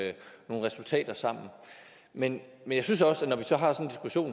resultater sammen men jeg synes også at når vi så har